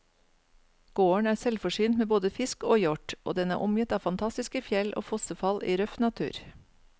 Gården er selvforsynt med både fisk og hjort, og den er omgitt av fantastiske fjell og fossefall i røff natur.